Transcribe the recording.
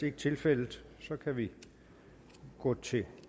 ikke tilfældet så kan vi gå til